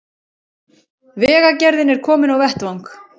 Vegagerðin er komin á vettvang